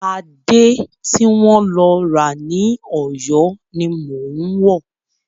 Adé ti wọ́n lọ ra ní Ọ̀yọ́ ni mò ń wò.